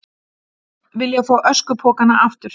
Vilja fá öskupokana aftur